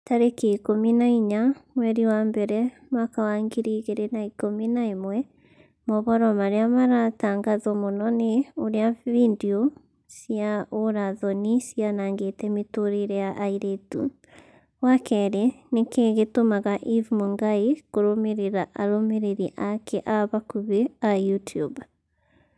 tarĩki ikũmi na inya mweri wa mbere mwaka wa ngiri igĩrĩ na ikũmi na ĩmwe mohoro marĩa maratangatwo mũno ni ũrĩa findio cia ũũra-thoni cianangĩte mĩtũrĩre ya airĩtu wa kerĩ nĩkĩĩ gĩtũmaga eve mũngai kũrũmĩrĩra arũmĩrĩri ake a hakuhi a YouTUBE